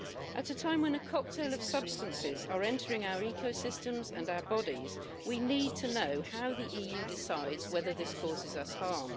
At a time when a cocktail of substances is entering our ecosystems and our bodies, we need to know how the EU decides whether this causes us harm.